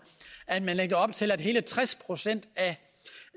at man lægger op til at hele tres procent